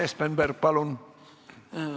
Urmas Espenberg, palun!